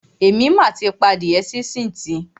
Èmi mà ti pa adíẹ sínsìn tì.